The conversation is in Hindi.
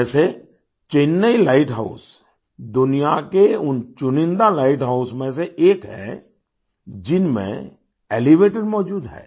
जैसे चेन्नई लाइट हाउस दुनिया के उनचुनिन्दा लाइट हाउस में से एक है जिनमें एलिवेटर मौजूद है